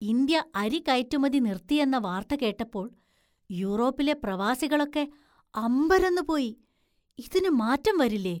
India അരി കയറ്റുമതി നിർത്തിയെന്ന വാർത്ത കേട്ടപ്പോൾ യൂറോപ്പിലെ പ്രവാസികളൊക്കെ അമ്പരന്നുപോയി. ഇതിനു മാറ്റം വരില്ലേ?